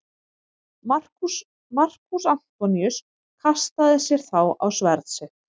Markús Antoníus kastaði sér þá á sverð sitt.